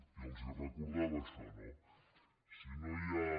i els recordava això no si no hi ha